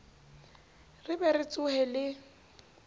re be re tsohe le